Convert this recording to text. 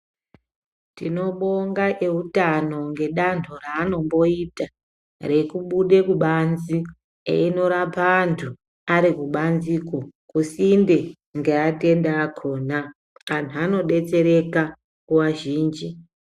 Tinobonga eutano ngedando raanomboita rekubude kubanze eyinorape antu ari kubanziko kusinde ngeatenda akona. Anhu anodetsereka nguwa zhinji.